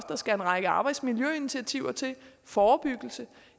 der skal en række arbejdsmiljøinitiativer til forebyggelse